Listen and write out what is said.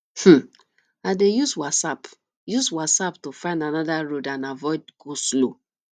um i dey use waze app use waze app to find another road and avoid goslow